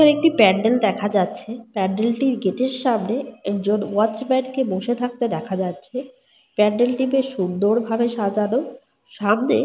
এখানে একটি প্যান্ডেল দেখা যাচ্ছে। প্যান্ডেলটির গেট এর সামনে একজন ওয়াচম্যান কে বসে থাকতে দেখা যাচ্ছে। প্যান্ডেলটি বেশ সুন্দর ভাবে সাজানো। সামনে।